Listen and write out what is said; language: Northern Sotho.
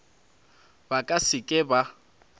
ba ka se ke ba